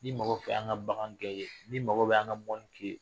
Ni mago fɛ an ka bagangɛn i ye ni mago bɛ an ka mɔni k'i ye